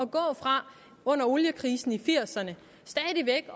gå fra oliekrisen i nitten firserne